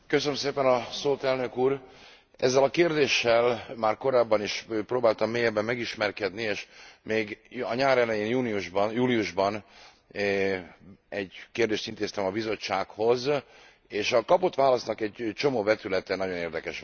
Elnök úr, ezzel a kérdéssel már korábban is próbáltam mélyebben megismerkedni és még a nyár elején júliusban egy kérdést intéztem a Bizottsághoz, és a kapott válasznak egy csomó vetülete nagyon érdekes volt számomra.